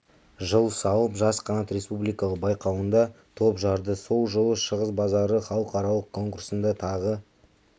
жыл салып жас қанат республикалық байқауында топ жарды сол жылы шығыс базары халықаралық конкурсында тағы